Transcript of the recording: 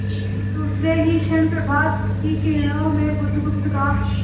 दूसरे ही क्षण प्रभात की किरणों में बुधगुप्त का